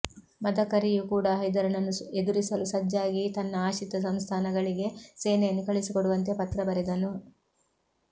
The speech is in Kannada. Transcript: ಮದಕರಿಯೂ ಕೂಡಾ ಹೈದರನನ್ನು ಎದುರಿಸಲು ಸಜ್ಜಾಗಿ ತನ್ನ ಆಶ್ರಿತ ಸಂಸ್ಥಾನಗಳಿಗೆ ಸೇನೆಯನ್ನು ಕಳುಹಿಸಿಕೊಡುವಂತೆ ಪತ್ರ ಬರೆದನು